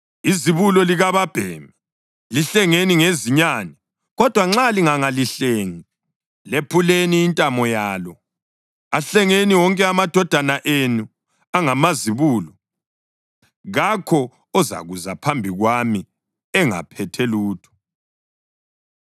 Izibulo likababhemi lihlengeni ngezinyane. Kodwa nxa lingangalihlengi lephuleni intamo yalo. Ahlengeni wonke amadodana enu angamazibulo. Kakho ozakuza phambi kwami engaphethe lutho.